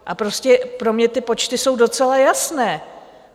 A prostě pro mě ty počty jsou docela jasné.